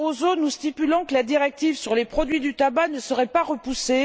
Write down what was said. Barroso nous assurant que la directive sur les produits du tabac ne serait pas repoussée.